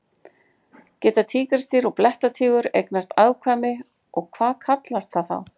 Geta tígrisdýr og blettatígur eignast afkvæmi og hvað kallast það þá?